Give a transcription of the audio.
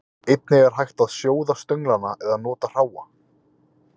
Einnig er hægt að sjóða stönglana eða nota hráa.